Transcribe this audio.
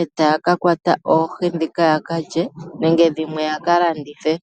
etaya kakwata ohii dhika yakalye nenge dhimwe yakalandithe